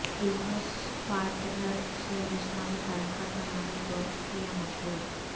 business partner سے جسمانی تعلقات بنانے کو کیا مجبور